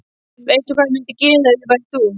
Veistu hvað ég mundi gera ef ég væri þú?